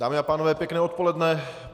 Dámy a pánové, pěkné odpoledne.